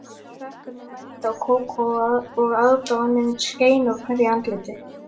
Krakkarnir mændu á Kókó og aðdáunin skein úr hverju andliti.